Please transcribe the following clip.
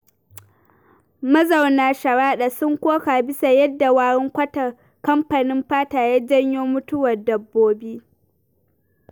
Mazauna Sharaɗa sun koka bisa yadda warin kwatar kamfanin fata ya janyo mutuwar dabbobi.